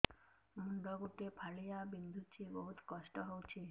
ମୁଣ୍ଡ ଗୋଟେ ଫାଳିଆ ବିନ୍ଧୁଚି ବହୁତ କଷ୍ଟ ହଉଚି